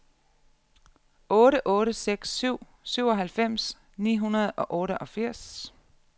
otte otte seks syv syvoghalvfems ni hundrede og otteogfirs